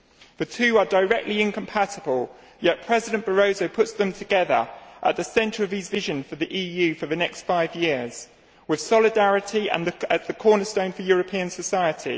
The two are directly incompatible, yet President Barroso puts them together at the centre of his vision of the EU for the next five years, with solidarity as the cornerstone for European society.